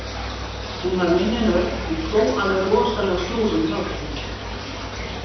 Hún var minni en Örn en hló alveg rosalega stórum hlátri.